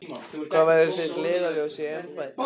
Hvað verður þitt leiðarljós í embætti?